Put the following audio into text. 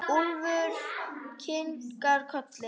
Úlfur kinkar kolli.